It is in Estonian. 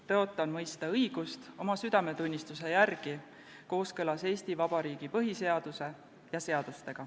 Tõotan mõista õigust oma südametunnistuse järgi kooskõlas Eesti Vabariigi põhiseaduse ja seadustega.